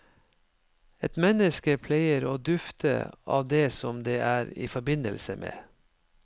Et menneske pleier å dufte av det som det er i forbindelse med.